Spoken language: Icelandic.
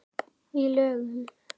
Í lögum